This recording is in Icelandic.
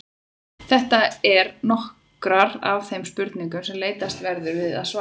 Þetta eru nokkrar af þeim spurningum sem leitast verður við að svara.